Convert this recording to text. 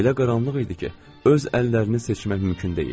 Elə qaranlıq idi ki, öz əllərini seçmək mümkün deyildi.